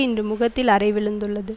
இன்று முகத்தில் அறை விழுந்துள்ளது